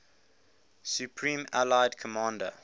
supreme allied commander